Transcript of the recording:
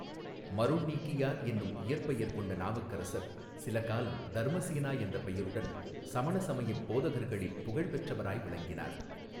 மருள் நீக்கியார் என்னும் இயற்பெயர் கொண்ட நாவுக்கரசர் சிலகாலம் தர்மசேனா என்ற பெயருடன் சமண சமயப் போதகர்களில் புகழ்பெற்றவராய் விளங்கினார்.